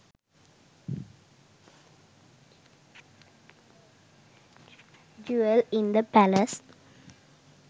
jewell in the palace